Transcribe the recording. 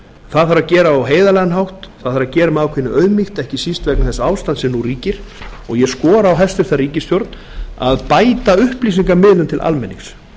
það þarf að gera á heiðarlegan hátt það þarf að gera með ákveðinni auðmýkt ekki síst vegna þess ástands sem nú ríkir og ég skora á hæstvirta ríkisstjórn að bæta upplýsingamiðlun til almennings